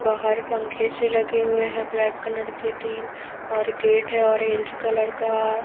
बाहर पंखे से लगे हुए है ब्लैक कलर के तीन और गेट है ऑरेंज कलर का--